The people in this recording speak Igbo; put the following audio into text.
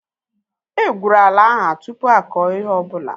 E gwụrụ ala ahu tụpụ akọ ihe ọbụla